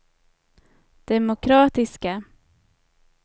demokratiska